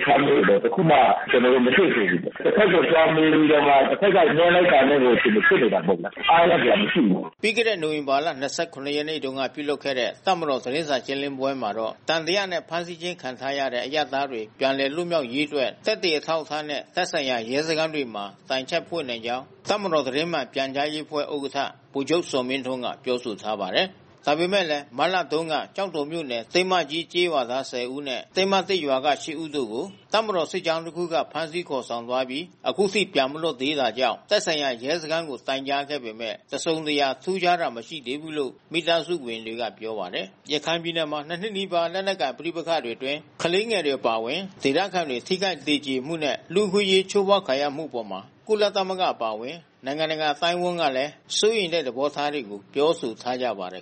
အထားမျိုးတော့ တခုမှ ကျနော်တို့ မတွေ့သေးဘူး။ တဘက်ကိုလှမ်းမေးပြီးတော့မှ တဘက်ကပြောလိုက်တာနဲ့ကို အခြေအနေဖြစ်နေတာပေါ့ဗျာ။ အားရစရာမရှိဘူး။” ပြီးခဲ့တဲ့နိုဝင်ဘာလ ၂၇ ရက်နေ့က ပြုလုပ်ခဲ့တဲ့ တပ်မတော်သတင်းစာ ရှင်းလင်းပွဲမှာတော့ သံသယနဲ့ ဖမ်းဆီးခြင်းခံထားရတဲ့ အရပ်သားတွေ ပြန်လည်လွတ်မြောက်ရေးအတွက် သက်သေအထောက်အထားနဲ့ သက်ဆိုင်ရာ ရဲစခန်းတွေမှာ တိုက်ချက်ဖွင့်နိုင်ကြောင်း တပ်မတော်သတင်းမှန် ပြန်ကြားရေးအဖွဲ့ဥက္ကဋ္ဌ ဗိုလ်ချုပ် ဇော်မင်းထွန်းက ပြောဆိုထားပါတယ်။ ဒါပေမဲ့လည်း မတ်လတုန်းက ကျောက်တော်မြို့နယ် တင်းမကြီးကျေးရွာသား ၁ဝ ဦးနှင့် တင်းမသစ်ရွာမှ ၈ ဦးတို့ကို တပ်မတော်စစ်ကြောင်းတစ်ခုက ဖမ်းဆီးခေါ်ဆောင်သွားပြီး အခုထိ ပြန်မလွတ်လာသေးတာကြောင့် သက်ဆိုင်ရာ ရဲစခန်းကို တိုင်ကြားခဲ့ပေမဲ့ တစ်စုံတစ်ရာ ထူးခြားမှုမရှိသေးဘူးလို့ မိသားစုဝင်တွေကပြောပါတယ်။ ရခိုင်ပြည်နယ်မှာ ၂ နှစ်နီးပါးကြာ လက်နက်ကိုင် ပဋိပက္ခတွေအတွင်း ကလေးငယ်တွေ အပါအဝင် ဒေသခံတွေ ထိခိုက်သေကြေမှုတွေနဲ့ လူ့အခွင့်အရေး ချိုးဖောက်ခံရမှုတွေအပေါ် ကုလသမဂ္ဂအပါအဝင် နိုင်ငံတကာ အသိုင်းအဝန်းကလည်း စိုးရိမ်တဲ့ သဘောထားတွေကို ပြောဆိုထားကြပါတယ်